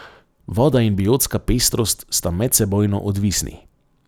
Voda in biotska pestrost sta medsebojno odvisni.